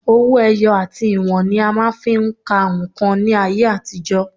Owó ẹyọ àti ìwọ̀n ni a máa ń fi ń ka nǹkan ní ayé àtijọ́